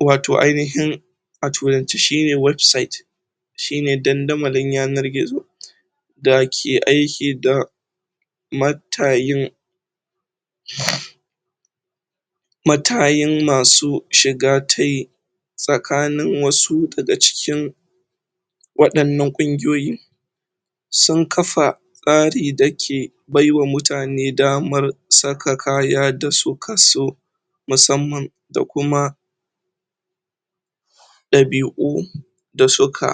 watoh ainihin a turance shi ne 'website' shi ne dandamali yanar gizo da ke aiki da matayin matayin masu shi ga tayi tsakanin wasu da ga cikin wadannan kunguyoyi sun kafa tsari da ke baiwa mutane dama saka kaya da su ka so musamman da kuma dabi'u da su ka